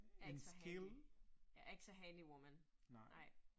Jeg ikke så handy. Jeg ikke så handywoman, nej